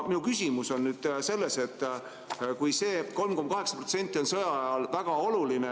Minu küsimus on selle kohta, et see 3,8% on sõja ajal väga oluline.